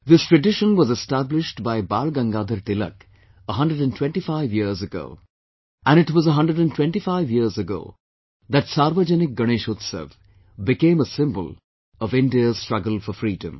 This tradition was established by Bal Gangadhar Tilak 125 years ago, and it was 125 years ago that Sarvajanik Ganeshotsav became a symbol of India's struggle for freedom